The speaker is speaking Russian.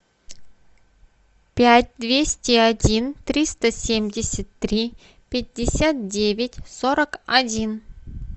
пять двести один триста семьдесят три пятьдесят девять сорок один